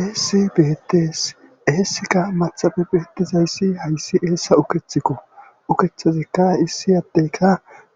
Eessi beetes eessika maxabe beetizayssi hayssi eessa ukethikko ukethazikka issi addeyka